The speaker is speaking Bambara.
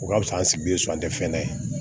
O ka fisa an sigilen so an tɛ fɛn ye